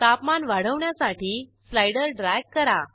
तापमान वाढवण्यासाठी slider drag करा